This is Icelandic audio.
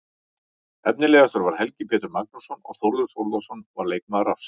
Efnilegastur var Helgi Pétur Magnússon og Þórður Þórðarson var leikmaður ársins.